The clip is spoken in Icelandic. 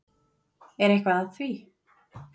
Er eitthvað að því?